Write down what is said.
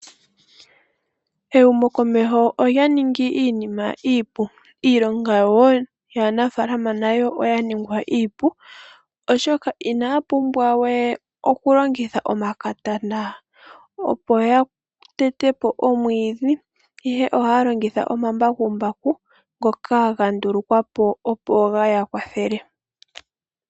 Ehumokomeho olya ningi iinima iipu. Iilonga woo yaanafaalama nayo oya ningwa iipu oshoka inaa pumbwa we okulongitha omakatana opo ya tete po omwiidhi ihe ohaya longitha omambakumbaku ngoka ga ndulukwa po opo ge ya kwathele.